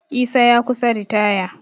Isa ya kusa ritaya